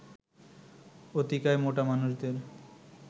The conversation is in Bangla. অতিকায় মোটা মানুষদের